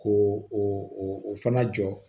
Ko o fana jɔ